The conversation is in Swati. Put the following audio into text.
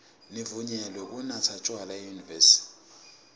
nivunyelwe kunatsa tjwala enyuvesi